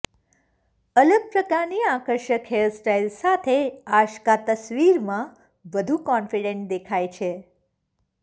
અલગ પ્રકારની આકર્ષક હેરસ્ટાઈલ સાથે આશ્કા તસવીરમાં વધુ કોન્ફિડન્ટ દેખાય છે